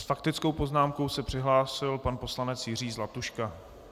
S faktickou poznámkou se přihlásil pan poslanec Jiří Zlatuška.